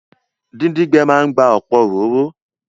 Díndín gbẹ máa n gba ọ̀pọ̀ òróró